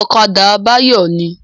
Ọ̀kadà Báyọ̀ ní